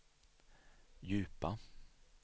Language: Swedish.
djupa